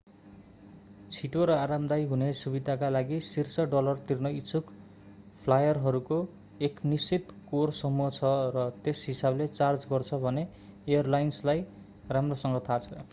छिटो र आरामदायी हुने सुविधाका लागि शीर्ष डलर तिर्न इच्छुक फ्लायरहरूको एक निश्चित कोर समूह छ र त्यस हिसाबले चार्ज गर्छ भन्ने एयरलाइन्सलाई राम्रोसँग थाहा छ